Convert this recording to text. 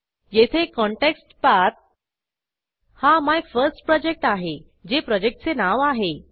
येथे कॉन्टेक्स्ट पाठ हा MyFirstProjectआहे जे प्रोजेक्टचे नाव आहे